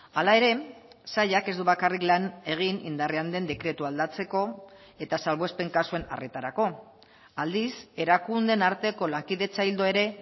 hala ere sailak ez du bakarrik lan egin indarrean den dekretua aldatzeko eta salbuespen kasuen arretarako aldiz erakundeen arteko lankidetza ildo ere